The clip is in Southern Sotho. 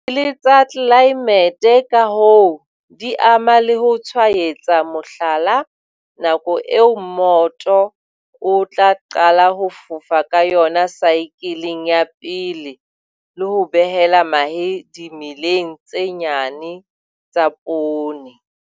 Disaekele tsa tlelaemete, ka hoo di ama le ho tshwaetsa, mohlala, nako eo mmoto o tla qala ho fofa ka yona saekeleng ya pele le ho behela mahe dimeleng tse nyane tsa poone.